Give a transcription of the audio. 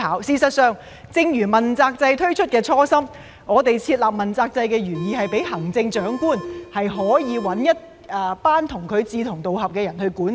事實上，正如問責制推出的初心，我們設立問責制的原意是讓行政長官可以選擇一組志同道合的人參與管治。